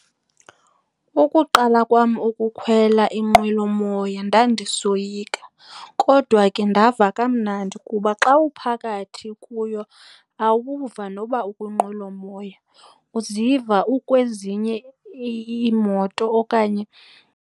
Ukuqala kwam ukukhwela inqwelomoya ndandisoyika kodwa ke ndava kamnandi kuba xa uphakathi kuyo awuva noba ukwinqwelomoya. Uziva ukwezinye iimoto okanye